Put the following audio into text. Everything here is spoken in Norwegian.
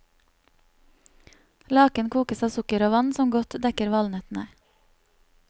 Laken kokes av sukker og vann som godt dekker valnøttene.